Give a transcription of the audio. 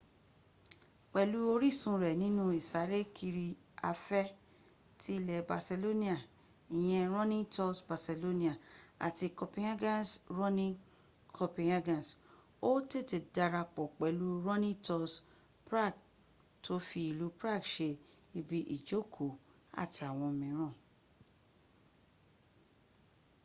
pẹ̀lú orísun rẹ̀ nínú ìsárékiri afẹ́ ti ilẹ̀ barcelona ìyẹn running tours barcelona àti copenhagen's running copenhagen ó tètè darapọ̀ pẹ̀lú running tours prague tó fi ilú prague se ibi ìjóòkó àtàwọn mìíràn